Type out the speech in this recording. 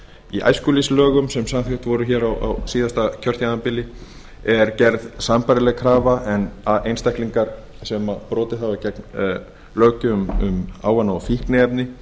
í æskulýðslögum sem samþykkt voru hér á síðasta kjörtímabili er gerð sambærileg krafa að einstaklingar sem brotið hafa gegn löggjöf um ávana og fíkniefni